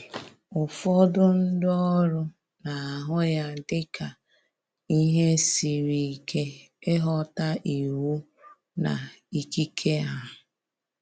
Ụfọdụ ndi oru na ahụ ya dị ka ihe siri ike ịghọta iwu na ikike ha